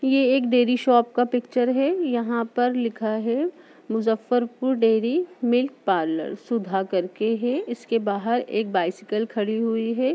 और ये एक डेयरी शॉप का पिक्चर है यहाँ पर लिखा है Muzaffarpur dairy milk parlour Sudha करके है| इसके बाहर एक बाइसिकल खड़ी हुई है।